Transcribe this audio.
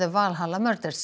Valhalla